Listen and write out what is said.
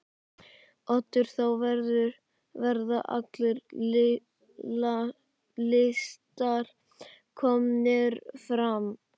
Oddur: Þá verða allir listar komnir fram?